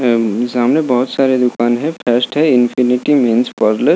अं सामने बहुत सारे दूकान है फेस्ट है इनफनिटी ब्यूटी पार्लर --